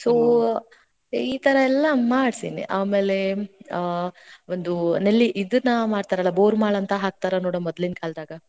So ಈ ಥರಾ ಎಲ್ಲಾ ಮಾಡ್ಸೇನಿ. ಆಮ್ಯಾಲೆ ಆ, ಒಂದು ನೆಲ್ಲಿ ಇದ್ನಾ ಮಾಡ್ತಾರಲಾ ಬೋರ್ಮಾಳ ಅಂತಾ ಹಾಕ್ತಾರ ನೋಡು ಮೊದ್ಲಿನ ಕಾಲದಾಗ.